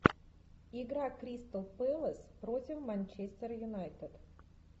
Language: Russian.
игра кристал пэлас против манчестер юнайтед